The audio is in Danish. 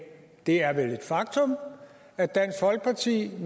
det er vel et faktum at dansk folkeparti